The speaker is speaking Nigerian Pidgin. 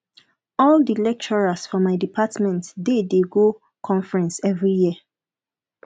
all di lecturers for my department dey dey go conference every year